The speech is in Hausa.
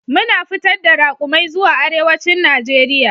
Muna fitar da raƙumai zuwa arewacin Najeriya.